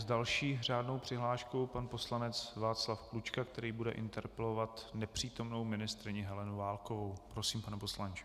S další řádnou přihláškou pan poslanec Václav Klučka, který bude interpelovat nepřítomnou ministryni Helenu Válkovou, Prosím, pane poslanče.